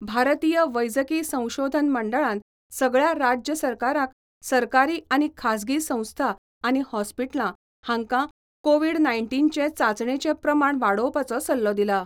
भारतीय वैजकी संशोधन मंडळान सगळ्या राज्य सरकारांक सरकारी आनी खासगी संस्था आनी हॉस्पिटलां हांका कोविड नाय्नटीनचे चांचणेचे प्रमाण वाडोवपाचो सल्लो दिला.